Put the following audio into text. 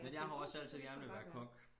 Men jeg har jo også altså gerne ville være kok